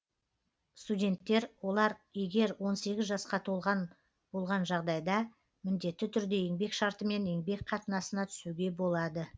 студенттер олар егер он сегіз жасқа толған болған жағдайда міндетті түрде еңбек шартымен еңбек қатынасына түсуге болады